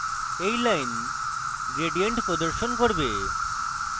এই line gradient প্রদর্শন করে